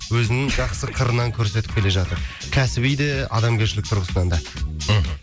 өзінің жақсы қырынан көрсетіп келе жатыр кәсіби де адамгершілік тұрғысынан да мхм